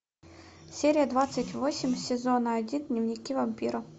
серия двадцать восемь сезона один дневники вампира